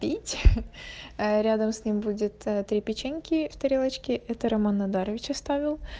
пить э рядом с ним будет ты печеньки в тарелочке это роман надарович оставил